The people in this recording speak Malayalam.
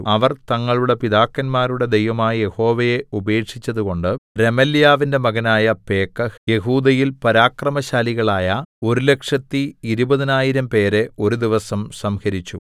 അവർ തങ്ങളുടെ പിതാക്കന്മാരുടെ ദൈവമായ യഹോവയെ ഉപേക്ഷിച്ചതുകൊണ്ട് രെമല്യാവിന്റെ മകനായ പേക്കഹ് യെഹൂദയിൽ പരാക്രമശാലികളായ ഒരുലക്ഷത്തി ഇരുപതിനായിരം പേരെ ഒരു ദിവസം സംഹരിച്ചു